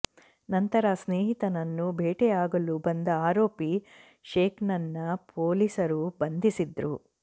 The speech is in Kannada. ನಂತರ ಸ್ನೇಹಿತನನ್ನು ಭೇಟಿಯಾಗಲು ಬಂದ ಆರೋಪಿ ಶೇಕ್ನನ್ನ ಪೊಲೀಸರು ಬಂಧಿಸಿದ್ರು